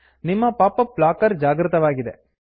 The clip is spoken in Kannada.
ನಿಮ್ಮ ಪಾಪ್ ಅಪ್ ಬ್ಲಾಕರ್ ಜಾಗೃತವಾಗಿದೆ